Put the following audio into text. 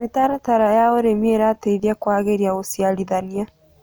Mĩtaratara ya ũrĩmĩ ĩrateĩthĩa kũagĩrĩa ũcĩarĩthanĩa